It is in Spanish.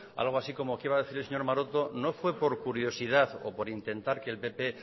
algo así como que iba a decir el señor maroto no fue por curiosidad o por intentar que el pp